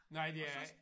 Nej det er ikke